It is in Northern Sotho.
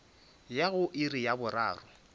ya go iri ya boraro